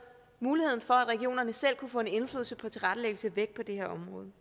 muligheden for at regionerne selv kunne få en indflydelse på tilrettelæggelsen væk på det her område